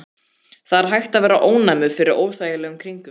Það er hægt að verða ónæmur fyrir óþægilegum kringumstæðum.